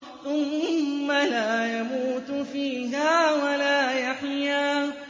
ثُمَّ لَا يَمُوتُ فِيهَا وَلَا يَحْيَىٰ